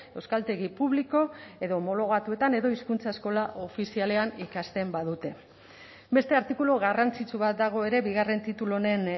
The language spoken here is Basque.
euskaltegi publiko edo homologatuetan edo hizkuntza eskola ofizialean ikasten badute beste artikulu garrantzitsu bat dago ere bigarren titulu honen